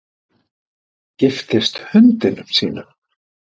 Giftist hundinum sínum